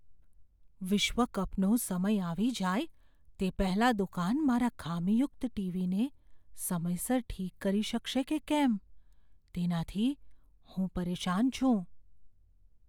વિશ્વ કપનો સમય આવી જાય તે પહેલાં દુકાન મારા ખામીયુક્ત ટીવીને સમયસર ઠીક કરી શકશે કે કેમ, તેનાથી હું પરેશાન છું.